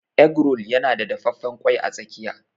Egg roll yana da dafaffen ƙwai a tsakiya.